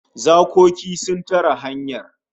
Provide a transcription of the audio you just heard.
Zakoki sun tare hanyar